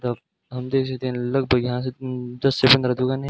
तब हम देख सकते है लगभग यहां से म दस से पंद्रह दुकान है।